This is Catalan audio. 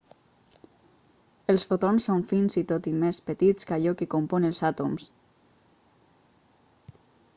els fotons són fins i tot més petits que allò que compon els àtoms